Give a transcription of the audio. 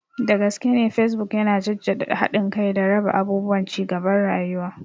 Dagaskene Facebook yana jaddada haɗin kai da raba abubuwan cigaban rayuwa.